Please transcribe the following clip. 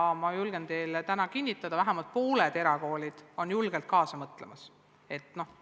Ma julgen teile täna kinnitada, et vähemalt pooled erakoolid mõtlevad sellele julgelt kaasa.